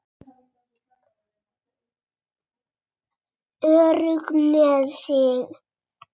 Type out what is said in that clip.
Örugg með sig.